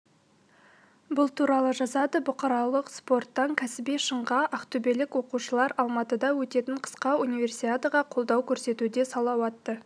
бұл туралы жазады бұқаралық спорттан кәсіби шыңға ақтөбелік оқушылар алматыда өтетін қысқы универсиадаға қолдау көрсетуде салауатты